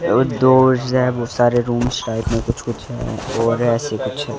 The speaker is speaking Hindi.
और दो सारे रूम साइड में कुछ कुछ है और ऐसे कुछ--